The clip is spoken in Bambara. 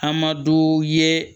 An ma duw ye